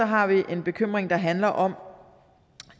har vi en bekymring der handler om